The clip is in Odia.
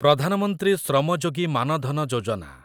ପ୍ରଧାନ ମନ୍ତ୍ରୀ ଶ୍ରମ ଯୋଗୀ ମାନ ଧନ ଯୋଜନା